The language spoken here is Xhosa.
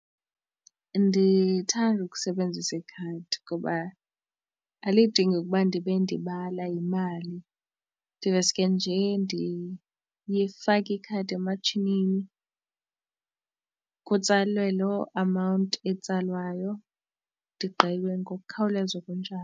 Ndithanda ukusebenzisa ikhadi ngoba alidingi ukuba ndibe ndibala imali ndiveske nje ndifake ikhadi ematshinini kutsalwe lo amount etsalwayo ndigqibe ngokukhawuleza okunjalo.